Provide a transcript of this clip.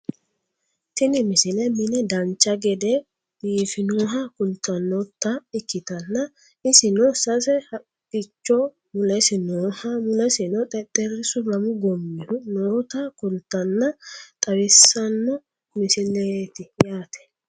tini misile mine dancha gede biifinoha kultannota ikkitanna isino sase haqqicho mulesi nooha mulesino xexxerrisu lamu goommihu noota kultannonna xawissanno misileeti yaate